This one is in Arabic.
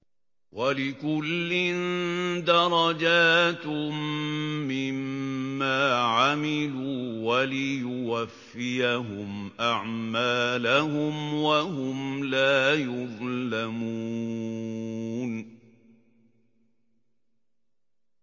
وَلِكُلٍّ دَرَجَاتٌ مِّمَّا عَمِلُوا ۖ وَلِيُوَفِّيَهُمْ أَعْمَالَهُمْ وَهُمْ لَا يُظْلَمُونَ